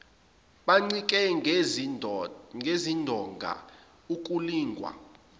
bencike ngezindonga ukulingwa